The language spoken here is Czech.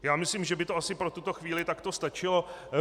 Já myslím, že by to asi pro tuto chvíli takto stačilo.